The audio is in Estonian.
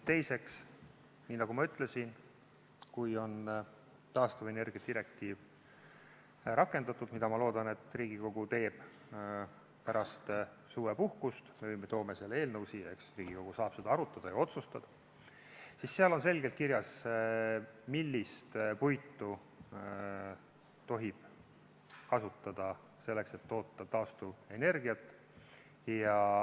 Teiseks, nii nagu ma ütlesin, kui on taastuvenergia direktiiv rakendatud – mida, ma loodan, et Riigikogu teeb pärast suvepuhkust, me toome selle eelnõu siia, eks siis Riigikogu saab seda arutada ja otsustada –, siis seal on selgelt kirjas, millist puitu tohib kasutada selleks, et toota taastuvenergiat.